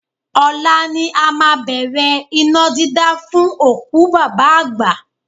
Ọ̀la ni a máa bẹ̀rẹ̀ iná dídá fún òkú bàbá àgbà